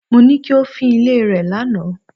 Mo ní kí o fín ilé rẹ lánàá.